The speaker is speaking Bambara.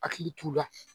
Hakili t'u la